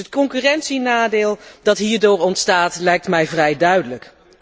Dus het concurrentienadeel dat hierdoor ontstaat lijkt mij vrij duidelijk.